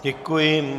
Děkuji.